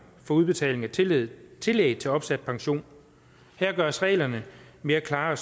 for udbetaling af tillæg tillæg for opsat pension her gøres reglerne mere klare